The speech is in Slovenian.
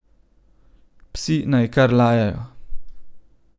Psi naj kar lajajo ...